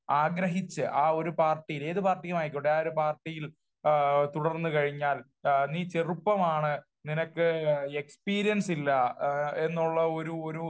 ആഗ്രഹിച്ച് ആ ഒരു പാർട്ടി ഏത് പാരട്ടിയും ആയിക്കോട്ടെ ആ ഒരു പാർട്ടിയിൽ തുടർന്ന് കഴിഞ്ഞാൽ നീ ചെറുപ്പമാണ് നിനക്ക് എക്സ്പീരിയൻസ് ഇല്ല എന്നുള്ള ഒരു ഒരു